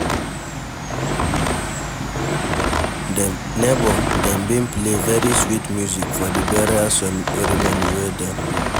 Nebor, dem bin play very sweet music for the burial ceremony wey dem do.